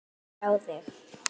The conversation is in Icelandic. Gaman að sjá þig.